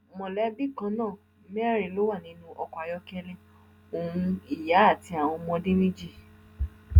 mọlẹbí kan náà mẹrin ló wà nínú ọkọ ayọkẹlẹ ohun ìyá àti àwọn ọmọdé méjì